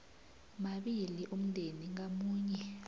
mabili umndeni ngamunye